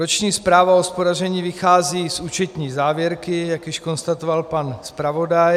Roční zpráva o hospodaření vychází z účetní závěrky, jak již konstatoval pan zpravodaj.